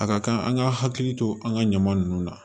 A ka kan an ka hakili to an ka ɲaman nunnu na